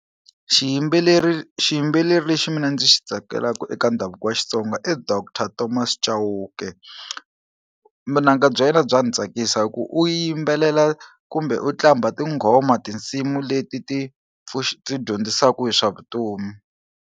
Xiyimbeleri xiyimbeleri lexi mina ndzi xi tsakelaka eka ndhavuko wa Xitsonga i Doctor Thomas Chauke munanga bya yena bya ndzi tsakisa hi ku u yimbelela kumbe u qambha tinghoma tinsimu leti ti ti dyondzisaku hi swa vutomi.